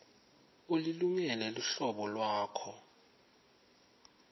ulilungele luhlolo lwakho